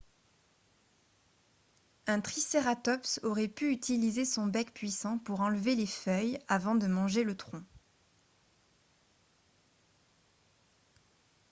un tricératops aurait pu utiliser son bec puissant pour enlever les feuilles avant de manger le tronc